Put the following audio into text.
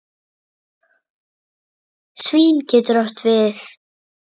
Svín getur átt við